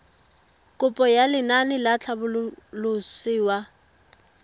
kopo ya lenaane la tlhabololosewa